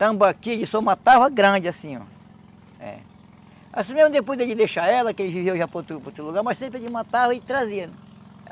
Tambaqui ele só matava grande assim, oh. É. Assim mesmo depois dele deixar ela, que ele vivia já para outro para outro lugar, mas sempre ele matava e trazia.